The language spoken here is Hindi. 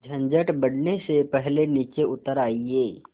झंझट बढ़ने से पहले नीचे उतर आइए